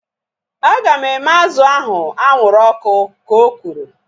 Aga m eme azụ ahu anwụrụ ọkụ ka o kwuru